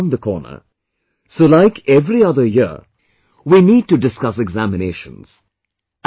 Exams are round the corner...so like every other year, we need to discuss examinations